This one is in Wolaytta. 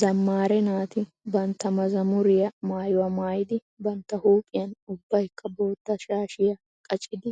Zammaare naati bantta mazammuriyaa maayuwaa maayidi bantta huuphiyan ubbaykka bootta shaashiya qaccidi